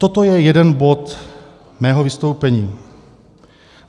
Toto je jeden bod mého vystoupení.